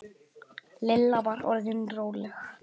Lilla var orðin róleg.